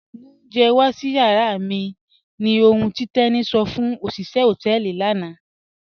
Mú ọ̀unjẹ̀ wà sí yàrà mi ní òhùn tí Teni sọ fún ọ̀ṣiṣẹ̀ họtẹẹlì lànà